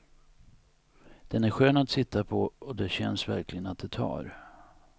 Den är skön att sitta på och det känns verkligen att det tar.